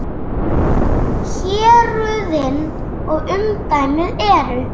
Héruðin og umdæmið eru